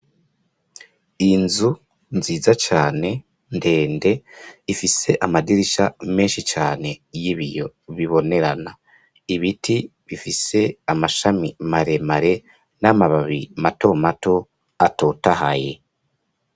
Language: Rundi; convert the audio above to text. Inzu nziza cane ndende ifise amadirisha menshi cane y'ibiyo bibonerana, ibiti bifise amashami maremare n'amababi mato mato atotahaye.